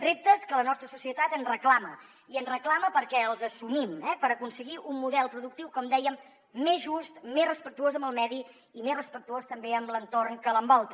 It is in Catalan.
reptes que la nostra societat ens reclama i ens reclama perquè els assumim eh per aconseguir un model productiu com dèiem més just més respectuós amb el medi i més respectuós també amb l’entorn que l’envolta